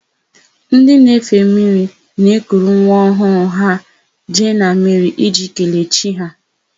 Ndị na-efe mmiri na-ekuru nwa ọhụụ ha jee na mmiri iji kelee chi ha.